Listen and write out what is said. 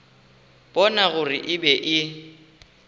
bona gore e be e